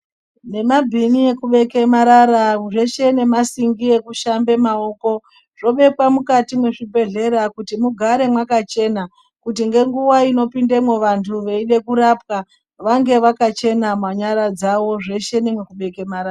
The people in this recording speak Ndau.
Nemabhini ekubeke marara zveshe ngemasingi ekushamba maokozvobekwe mukati mwezvibhedhleya kuti mugare mwakachena kuti ngenguwa inopindemwo vanthu veide kurapwa vange vakachena manyara dzao zveshe nemekubeke marara.